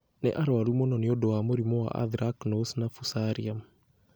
Nĩ arũaru mũno nĩ ũndũ wa mũrimũ wa anthracnose na fusarium.